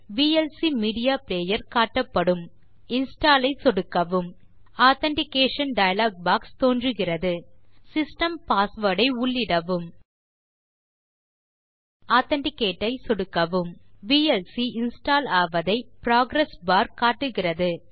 VLC media player காட்டப்படும் install ஐ சொடுக்கவும் ஆதென்டிகேஷன் டயலாக் பாக்ஸ் தோன்றுகிறது சிஸ்டம் பாஸ்வேர்ட் ஐ உள்ளிடவும் ஆதென்டிகேட் ஐ சொடுக்கவும் விஎல்சி இன்ஸ்டால் ஆவதை புரோகிரஸ் பார் காட்டுகிறது